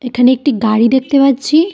এখানে একটি গাড়ি দেখতে পাচ্ছি।